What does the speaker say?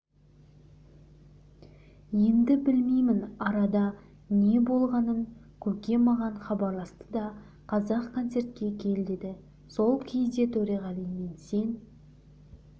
енді білмеймін арада не болғанын көке маған хабарласты да қазақ концертке кел деді сол кезде төреғалимен сен